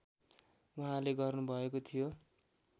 उहाँले गर्नुभएको थियो